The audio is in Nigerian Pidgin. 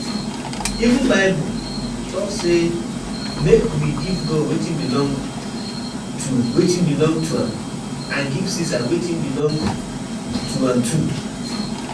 Even bible um talk say make we give God wetin belong to wetin belong to am and give Ceasar wetin belong to am too